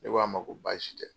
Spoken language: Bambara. Ne k'a ma ko baasi tɛ.